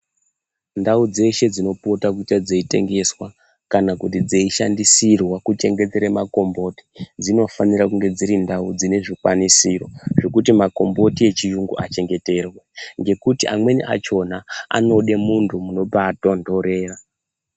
Ndau dzeshe dzinopota dzeite kungeswa kana kuti dzeishandisirwa kuchengeterwa makomboti dzinofanira kunge dziri ndau dzinezvikwanisiro zvekuti makomboti echiyungu achengeterwe ngekuti amweni achona anoda munthu munobatondorera.